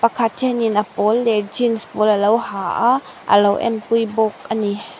pakhat hianin a pawl leh jeans pawl a lo ha a a lo en pui bawk a ni.